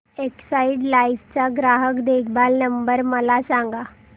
Exide life चा ग्राहक देखभाल नंबर मला सांगा